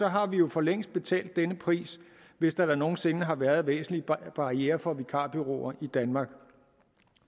har vi jo for længst betalt denne pris hvis der da nogen sinde har været væsentlige barrierer for vikarbureauer i danmark